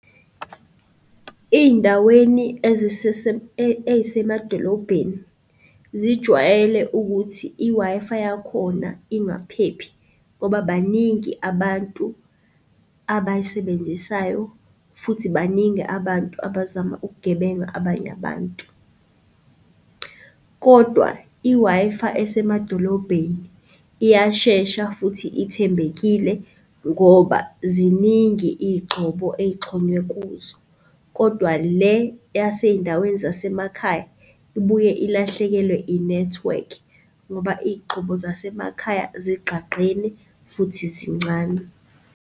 Iy'ndaweni ey'semadolobheni zijwayele ukuthi i-Wi-Fi yakhona ingaphephi ngoba baningi abantu abayisebenzisayo futhi baningi abantu abazama ukugebenga abanye abantu. Kodwa i-Wi-Fi esemadolobheni iyashesha futhi ithembekile ngoba ziningi iy'gxobo ey'xhonywe kuzo kodwa le yasey'ndaweni zasemakhaya, ibuye ilahlekelwe inethiwekhi ngoba iy'gxobo zasemakhaya zigqagqene futhi zincane.